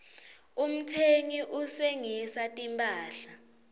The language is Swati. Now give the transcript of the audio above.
umtsengisi uhsengisa timphahla